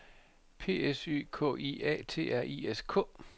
P S Y K I A T R I S K